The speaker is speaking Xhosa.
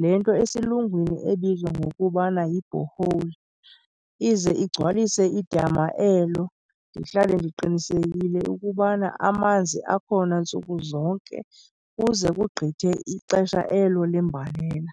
le nto esiLungwini ebizwa ngokubana yi-borehole, ize igcwalise idama elo, ndihlale ndiqinisekile ukubana amanzi akhona ntsuku zonke kuze kugqithe ixesha elo lembalela.